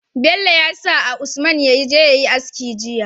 Bello yasa a usman yaje yayi aski jiya